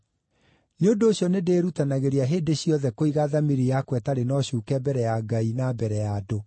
Nĩ ũndũ ũcio nĩndĩĩrutanagĩria hĩndĩ ciothe kũiga thamiri yakwa ĩtarĩ na ũcuuke mbere ya Ngai na mbere ya andũ.